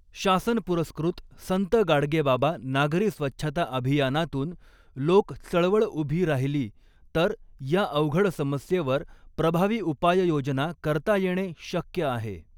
शासनपुरस्कृत संत गाडगेबाबा नागरी स्वच्छता अभियानातून लोक चळवळ उभी राहिली तर या अवघड समस्येवर प्रभावी उपाययोजना करता येणे शक्य आहे.